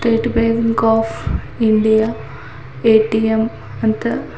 state Bank of India A T M ಅಂತ --